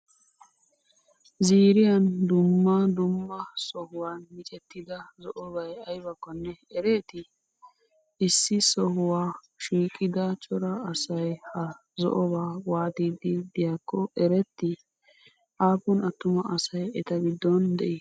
zirriyaan duummaa duummaa sohuwan miccetida zo'obay aybakonnee ereeti? issi sohuwa shiqqida cora asay ha zo'obaa watiyddi diyakkonne ereeti? appun attuma asay eta giddon de'i?